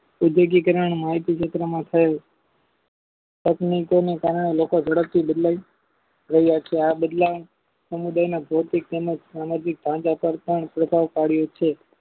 ઔદ્યોગિકરણ અને માવતીક ઘટના માં થયું ટેકનિકોને કારણે લોકોએ ઝડપ થી બદલાય રહ્યા છે આ બદલ સમુદાયના ભૌતિક તેમજ સામાજિક ભાગ્ય કરતા પ્રધાન કર્યો છે